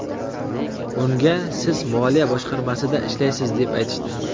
Unga siz moliya boshqarmasida ishlaysiz deb aytishdi.